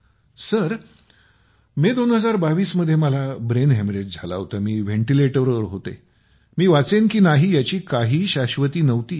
sir May २०२२ ला मला brain haemorrhage झाला होता मी व्हेनटीलेटर वर होते मी वाचेन कि नाही याची काही शाश्वती नव्हती